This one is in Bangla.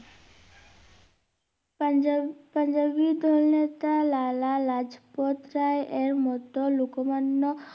পাঞ্জাব~পাঞ্জাবী দলের নেতা লালা লাজপথ রায়ের মতো লুকোমান্য